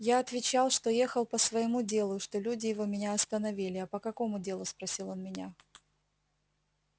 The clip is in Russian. я отвечал что ехал по своему делу и что люди его меня остановили а по какому делу спросил он меня